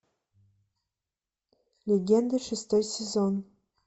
легенды шестой сезон